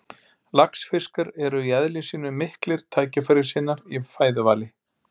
Laxfiskar eru í eðli sínu miklir tækifærissinnar í fæðuvali.